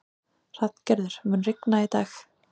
Hrafngerður, mun rigna í dag?